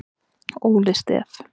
Óli Stef